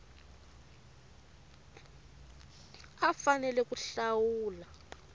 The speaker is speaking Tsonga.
a a fanele ku hlawula